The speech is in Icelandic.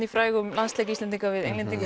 í frægan landsleik Íslendinga við Englendinga